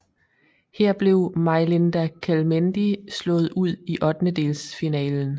Her blev Majlinda Kelmendi slået ud i ottendedelsfinalen